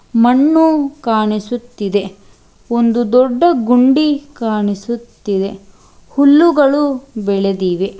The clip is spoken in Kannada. ಮಣ್ಣು ಕಾಣಿಸುತ್ತಿದೆ ಒಂದು ದೊಡ್ಡ ಗುಂಡಿ ಕಾಣಿಸುತ್ತಿವೆ ಹುಲ್ಲುಗಳು ಬೆಳೆದಿವೆ.